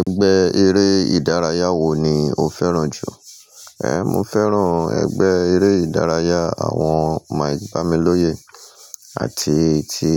Ẹgbẹ́ eré ìdárayá wo ni o fẹ́ràn jù? Eh, mo fẹ́ràn ẹgbẹ́ eré ìdárayá àwọn mike bámilọ́yè àti ti